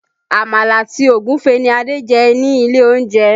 Àmàlà àti Ògúfe ní Adé jẹ ilé olóúnjẹ